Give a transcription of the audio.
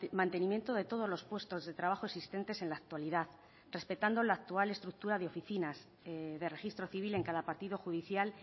mantenimiento de todos los puestos de trabajo existentes en la actualidad respetando la actual estructura de oficinas de registro civil en cada partido judicial